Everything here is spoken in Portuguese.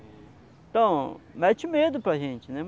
Então, mete medo para a gente, né?